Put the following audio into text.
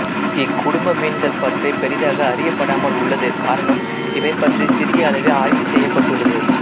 இக்குடும்ப மீன்கள்பற்றி பெரியதாக அறியப்படாமல் உள்ளது காரணம் இவைபற்றி சிறிய அளவே ஆய்வு செய்யப்பட்டுள்ளது